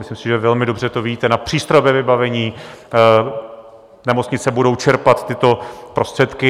Myslím si, že velmi dobře to víte, na přístrojové vybavení, nemocnice budou čerpat tyto prostředky.